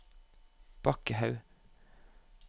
Bakkehaug